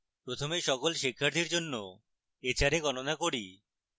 প্রথমে সকল শিক্ষার্থীর জন্য hra গণনা করি